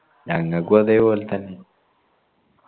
ഞങ്ങൾക്കും അതെ പോൽ തന്നെ